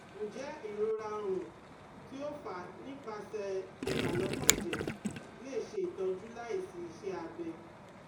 Njẹ irora ọrun, ti o fa nipasẹ ibalokanjẹ le ṣe itọju laisi iṣẹ abẹ?